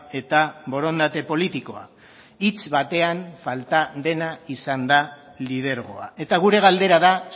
eta borondate politikoa hitz batean falta dena izan da lidergoa eta gure galdera da